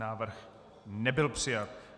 Návrh nebyl přijat.